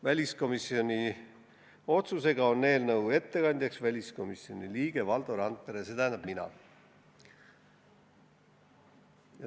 Väliskomisjoni otsusega on eelnõu ettekandja väliskomisjoni liige Valdo Randpere, st mina.